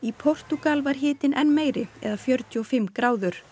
Portúgal var hitinn enn meiri eða fjörutíu og fimm gráður